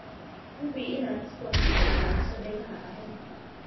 Hubi inaad sidoo kale ilaaliso dhegaha carruurta.